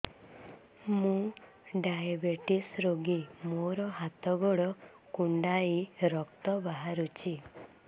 ମୁ ଡାଏବେଟିସ ରୋଗୀ ମୋର ହାତ ଗୋଡ଼ କୁଣ୍ଡାଇ ରକ୍ତ ବାହାରୁଚି